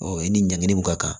i ni ɲankili mun ka kan